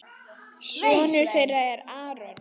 Sonur þeirra er Aron.